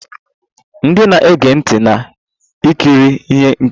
Ndị na-ege ntị na-ekiri ihe nkiri.